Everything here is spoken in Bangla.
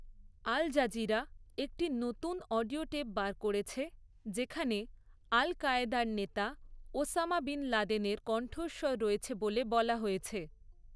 আলজাজিরা একটি নতুন অডিওটেপ বার করেছে যেখানে আল কায়েদার নেতা ওসামা বিন লাদেনের কণ্ঠস্বর রয়েছে বলে বলা হয়েছে।